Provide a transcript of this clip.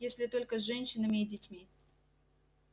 если только с женщинами и детьми